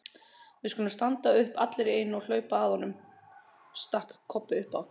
Við skulum standa upp allir í einu og hlaupa að honum, stakk Kobbi upp á.